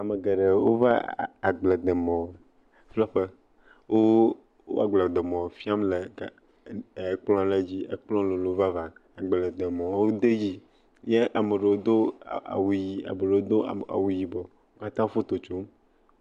ame geɖewo va agbledemɔ ƒle ƒe wó wo agbledemɔ fiam le ekplɔ le dzi ekplɔ̃ lolo vavã agbledemɔwo de dzi ye ameɖewo dó awu yi eɖewo dó awu yibɔ wókatã wó foto tsom